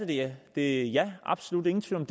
det er jeg absolut ingen tvivl